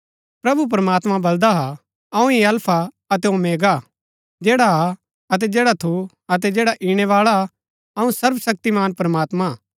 प्रभु प्रमात्मां बलदा हा अऊँ ही अल्फा अतै ओमेगा हा जैडा हा अतै जैडा थू अतै जैडा ईणैबाळा हा अऊँ सर्वशक्तिमान प्रमात्मां हा